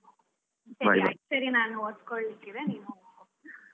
ಸರಿ ಸರಿ ನಾನ್ ಓದ್ಕೊಳ್ಲಿಕ್ಕೆ ಇದೆ ನೀನು ಹೋಗು ಓದ್ ಕೋ